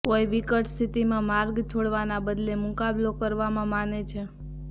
કોઈ વિકટ સ્થિતિમાં માર્ગ છોડવાના બદલે મુકાબલો કરવામાં માને છે